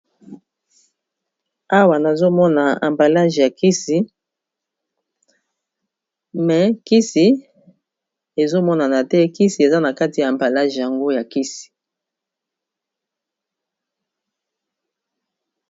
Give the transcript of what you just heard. awa nazomona ambalage ya kisi mais kisi ezomonana te kisi eza na kati ya ambalage yango ya kisi.